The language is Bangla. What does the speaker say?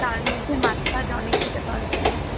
তার মধ্যে মাছ ফাচ অনেক খেতে পারবি